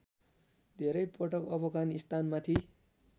धेरै पटक अफगानिस्तानमाथि